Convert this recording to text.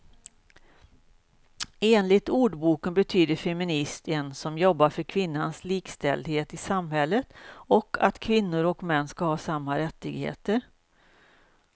Enligt ordboken betyder feminist en som jobbar för kvinnans likställdhet i samhället och att kvinnor och män ska ha samma rättigheter.